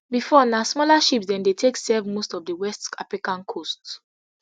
bifor na smaller ships dem dey take serve most of di west african coasts